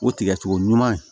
O tigɛcogo ɲuman